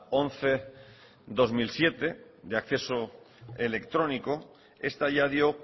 once barra dos mil siete de acceso electrónico esta ya dio